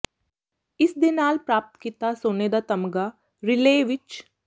ਇਸ ਦੇ ਨਾਲ ਪ੍ਰਾਪਤ ਕੀਤਾ ਸੋਨੇ ਦਾ ਤਮਗਾ ਰੀਲੇਅ ਵਿਚ